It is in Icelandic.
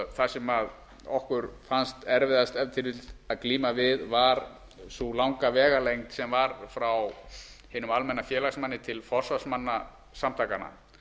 það sem okkur fannst erfiðast ef til vill að glíma við var sú langa vegalengd sem var frá hinum almenna félagsmanni til forsvarsmanna samtakanna